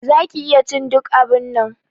Za ki iya cin duk abunnan.